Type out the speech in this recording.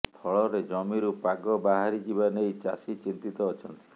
ଫଳରେ ଜମିରୁ ପାଗ ବାହାରିଯିବା ନେଇ ଚାଷୀ ଚିନ୍ତିତ ଅଛନ୍ତି